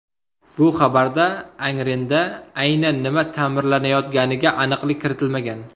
Bu xabarda Angrenda aynan nima ta’mirlanayotganiga aniqlik kiritilmagan.